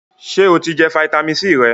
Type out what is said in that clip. Sè o ti jẹ fitamisi C rẹ?